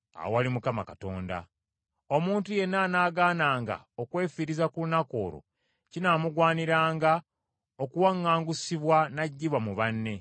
Era buli muntu anaakolanga omulimu ku lunaku olwo ndimuggya mu banne ne mmuzikiriza.